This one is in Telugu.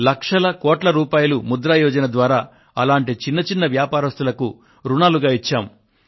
లక్షల కోట్ల రూపాయలు ముద్ర యోజన ద్వారా అటువంటి చిన్న చిన్న వ్యాపారస్తులకు రుణాలుగా ఇచ్చాము